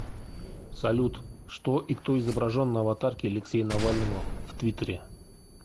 салют что и кто изображен на аватарке алексея навального в твиттере